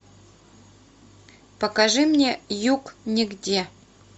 покажи мне юг нигде